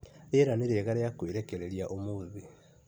Rĩera nĩ rĩega mũno rĩa kũĩrekereria ũmũthĩ